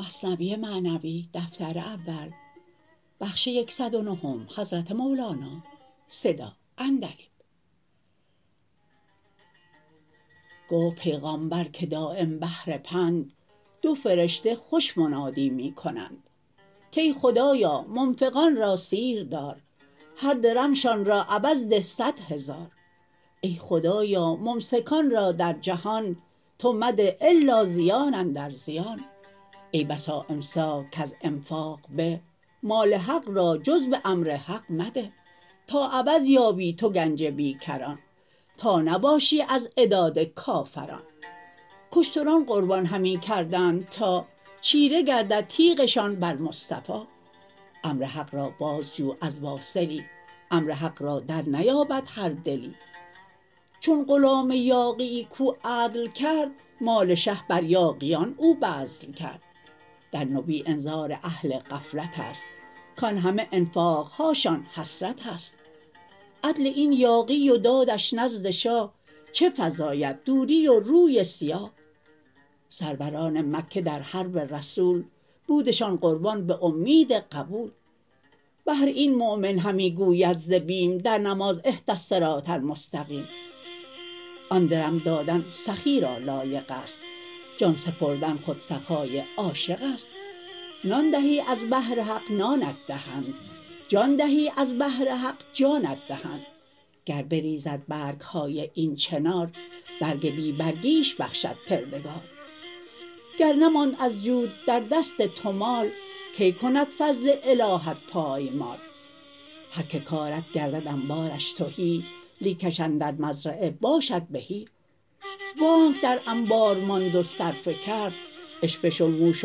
گفت پیغامبر که دایم بهر پند دو فرشته خوش منادی می کنند کای خدایا منفقان را سیر دار هر درمشان را عوض ده صد هزار ای خدایا ممسکان را در جهان تو مده الا زیان اندر زیان ای بسا امساک کز انفاق به مال حق را جز به امر حق مده تا عوض یابی تو گنج بی کران تا نباشی از عداد کافران کاشتران قربان همی کردند تا چیره گردد تیغشان بر مصطفی امر حق را باز جو از واصلی امر حق را در نیابد هر دلی چون غلام یاغیی کو عدل کرد مال شه بر یاغیان او بذل کرد در نبی انذار اهل غفلتست کان همه انفاقهاشان حسرتست عدل این یاغی و دادش نزد شاه چه فزاید دوری و روی سیاه سروران مکه در حرب رسول بودشان قربان به اومید قبول بهر این مؤمن همی گوید ز بیم در نماز اهد الصراط المستقیم آن درم دادن سخی را لایقست جان سپردن خود سخای عاشقست نان دهی از بهر حق نانت دهند جان دهی از بهر حق جانت دهند گر بریزد برگهای این چنار برگ بی برگیش بخشد کردگار گر نماند از جود در دست تو مال کی کند فضل الهت پای مال هر که کارد گردد انبارش تهی لیکش اندر مزرعه باشد بهی وانک در انبار ماند و صرفه کرد اشپش و موش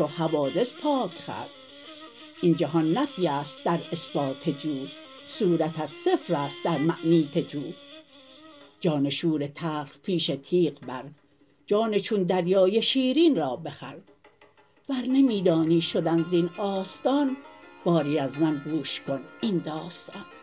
حوادث پاک خورد این جهان نفیست در اثبات جو صورتت صفرست در معنیت جو جان شور تلخ پیش تیغ بر جان چون دریای شیرین را بخر ور نمی دانی شدن زین آستان باری از من گوش کن این داستان